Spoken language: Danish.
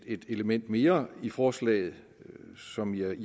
et element mere i forslaget som jeg i